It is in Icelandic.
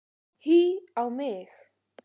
Hí á mig!